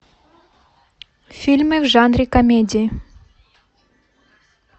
фильмы в жанре комедии